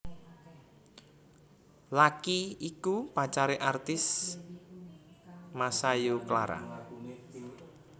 Lucky iku pacaré artis Masayu Clara